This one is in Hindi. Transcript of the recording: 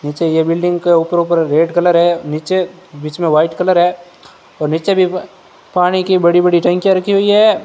नीचे ये बिल्डिंग के ऊपर ऊपर रेड कलर है नीचे बीच में वाइट कलर है और नीचे भी पानी की बड़ी बड़ी टंकी रखी हुई है।